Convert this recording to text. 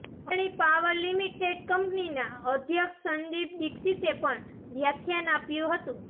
Adani power limited કંપનીના અધ્યક્ષ સંદીપ દિક્ષિતે પણ વ્યાખ્યાન આપ્યું હતું